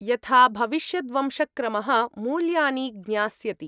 यथा भविष्यद्वंशक्रमः मूल्यानि ज्ञास्यति।